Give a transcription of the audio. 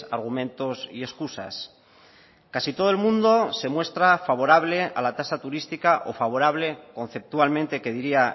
argumentos y excusas casi todo el mundo se muestra favorable a la tasa turística o favorable conceptualmente que diría